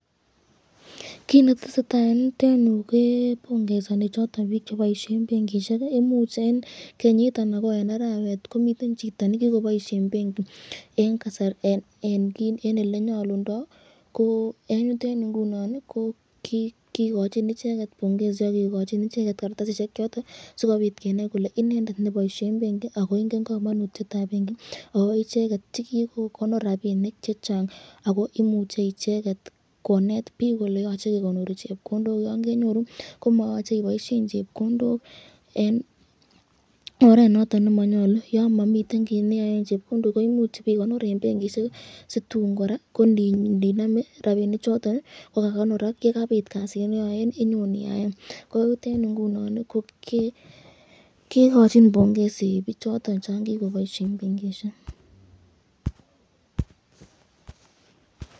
Kiit netesetaa en yuton yuu kebongesoni choton biik cheboishen benkishek, imuch en kenyit anan ko en arawet komiten chito nekikoboishen benki en elee nyolundo ko en yuton yuu ing'unon ko kikochin icheket bongesi ak kikochin icheket kartasishek choton sikobit kenai kolee inendet neboishen benki ak ko ing'en komonutietab benki ak ko icheket che kikokonor rabinik chechang ak ko imuche icheket koneet biik kolee yoche kekonori chepkondok yoon kenyoru komoyoche iboishen chepkondok en oreet noton nemonyolu yoon momiten kiit neyoen chepkondok ko imuch ibekonor en benkishek situun kora kondinome rabini choton kokakonorak yekabit kasit nenyon iyaen inyon iyaen koten ing'unon ko kekochin bongesi bichoton chon kikoboishen benkishek.